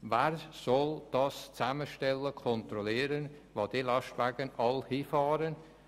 Wer soll zusammenstellen und kontrollieren, wohin all diese Lastwagen fahren?